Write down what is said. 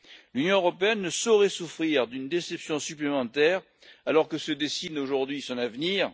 L'Union européenne ne saurait souffrir d'une déception supplémentaire, alors que se dessine aujourd'hui son avenir.